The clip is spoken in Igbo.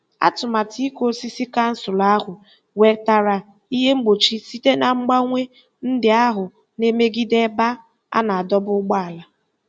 Atụmatụ ịkụ osisi kansụl ahụ nwetara ihe mgbochi site na mgbanwe ndị ahụ na-emegide ebe a na-adọba ụgbọala.